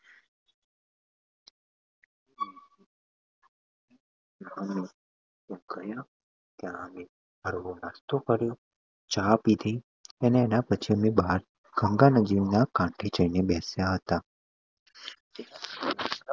અર ગયા હતા અમે તો પછી અમે ચા પીધી અને પછી ગંગા નદીના કાંઠે જઈને બેસ્યા હતા.